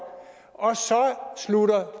og så slutter